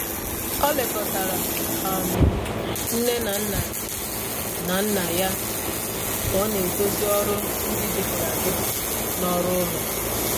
O lekọtara um nne na nna na nna ya ka ọ na-edozi ọrụ ndi dịpụrụ adịpụ na ọrụ ụlọ.